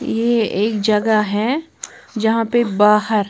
ये एक जगह है जहां पे बाहर--